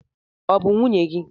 ọ bụ nwunye gị?